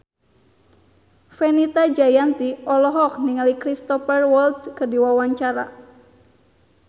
Fenita Jayanti olohok ningali Cristhoper Waltz keur diwawancara